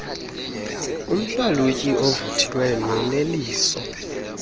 umhlalutyi ovuthiweyo noneliso